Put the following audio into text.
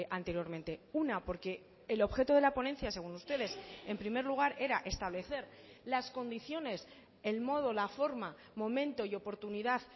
anteriormente una porque el objeto de la ponencia según ustedes en primer lugar era establecer las condiciones el modo la forma momento y oportunidad